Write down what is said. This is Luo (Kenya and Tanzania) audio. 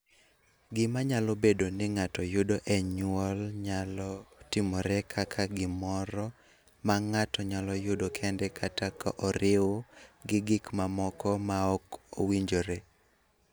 Gima nyalo bedo ni ng�ato yudo e nyuol nyalo timore kaka gimoro ma ng�ato nyalo yudo kende kata ka oriw gi gik mamoko ma ok owinjore.